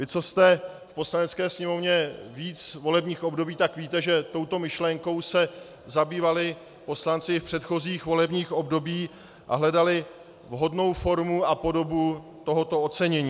Vy, kdo jste v Poslanecké sněmovně víc volebních období, tak víte, že touto myšlenkou se zabývali poslanci i v předchozích volebních obdobích a hledali vhodnou formu a podobu tohoto ocenění.